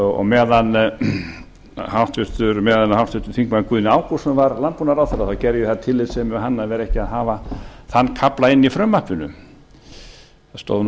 og meðan háttvirtur þingmaður guðni ágústsson var landbúnaðarráðherra gerði ég það af tillitssemi við hann að vera ekki að hafa þann kafla inni í frumvarpinu það stóð